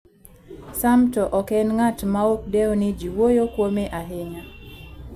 Sam to ok en ng'at maok dew ni ji wuoyo kuome ahinya.